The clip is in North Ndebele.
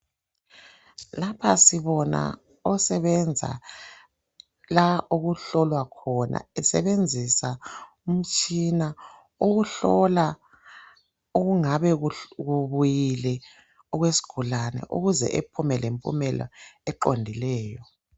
Lapha sibona osebenza la okuhlolwa khona, esebenzisa umtshina ukuhlola okungabe kubuyile okwesigulane ukuze ephume lempumela eqondileyo.